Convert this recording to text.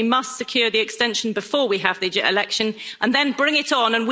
So we must secure the extension before we have the election and then bring it on.